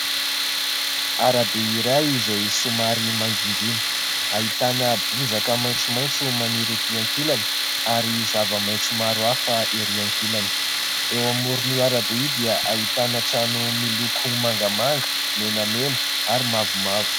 Arabe iray izay somary mangingina hahitana bozaka maintso maintso maniry ety an-kilany ary zava-maintso maro afa erỳ an-kilany ; eo amoron'io ara-be io dia ahitana trano miloko mangamanga, menamena ary mavomavo.